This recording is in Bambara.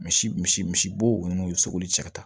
Misi misi misibo numu sogoli cɛ ka ca